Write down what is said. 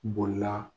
Bolila